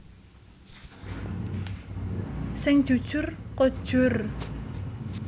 Sing jujur kojur